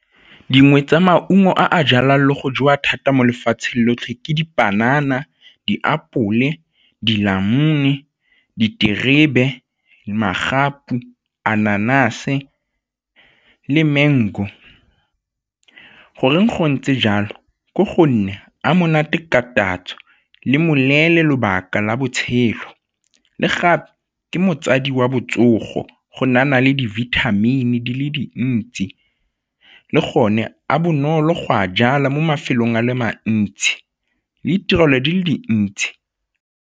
Dingwe tsa maungo a a jalwang le go jewa thata mo lefatsheng lotlhe ke dipanana, diapole, dinamune, diterebe, magapu, le mango. Goreng go ntse jalo? Ke gore a monate ka tatso le moneele lobaka la botshelo le gape ke wa botsogo go nayana le dibithamine di le dintsi le gone a bonolo go a jala mo mafelong a le mantsi le ditirelo di le dintsi.